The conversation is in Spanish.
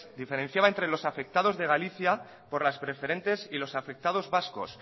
diferenciaba entre los afectados de galicia por las preferentes y los afectados vascos